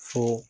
Fo